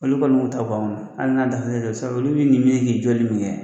Olu kɔnoi b'u ta bɔ anw na hali n'a dann'o ma sa olu bɛ i minɛ k'i jɔli min kɛ